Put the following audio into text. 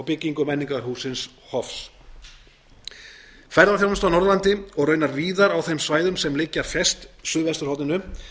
byggingu menningarhússins hofs ferðaþjónusta á norðurlandi og raunar víðar á þeim svæðum sem liggja fjærst suðvesturhorninu